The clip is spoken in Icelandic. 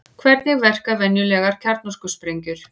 Hvernig verka venjulegar kjarnorkusprengjur?